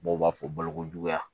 Dɔw b'a fɔ balokojuguya